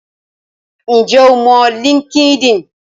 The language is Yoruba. Ǹjẹ́ o mọ Linkedin?